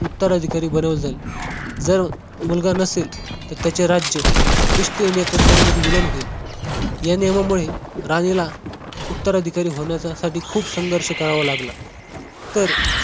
उत्तर अधिकारी बनवले जाईल जर मुलगा नसेल तर त्याचे राज्य ईस्ट इंडिया कंपनीमध्ये विलीन होईल या नियमामुळे राणीला उत्तर अधिकारी होण्यासाठी खूप संघर्ष करावे लागले तर